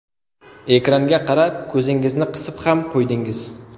Ekranga qarab ko‘zingizni qisib ham qo‘ydingiz.